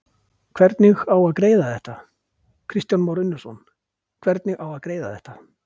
Kristján Már Unnarsson: Hvernig á að greiða þetta?